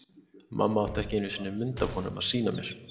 Mamma átti ekki einu sinni mynd af honum að sýna mér.